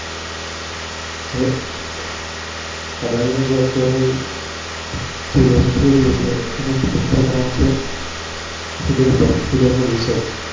અદાણીનું જે Loss થઈ રહ્યું છે તેનું મુખ્ય કારણ છે HindenburgHindenburg Rearch